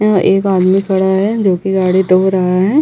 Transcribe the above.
यहाँ एक आदमी खड़ा है जो की गाड़ी धो रहा है।